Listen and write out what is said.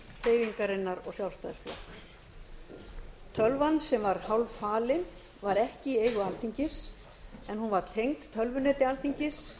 hreyfingarinnar og sjálfstæðisflokks tölvan sem var hálffalin var ekki í eigu alþingis en hún var tengd tölvuneti alþingis